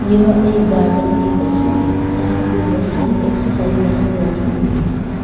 यह एक गार्डन की तस्वीरें यहां पर बहुत सारी एक्सरसाइज मशीन रखी हुई है।